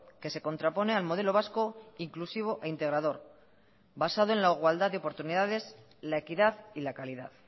que se contrapone al modelo vasco inclusivo e integrador basado en la igualdad de oportunidades la equidad y la calidad